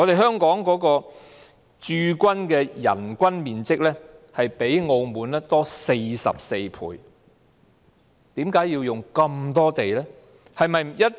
香港駐軍的人均面積較澳門多44倍，為甚麼要用那麼多土地？